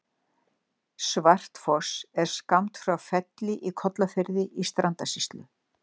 Svartfoss er skammt frá Felli í Kollafirði í Strandasýslu.